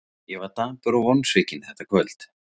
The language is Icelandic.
Ég var dapur og vonsvikinn þetta kvöld.